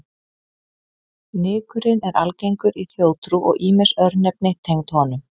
Nykurinn er algengur í þjóðtrú og ýmis örnefni tengd honum.